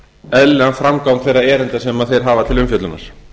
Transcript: eðlilegan framgang þeirra erinda sem þeir hafa til umfjöllunar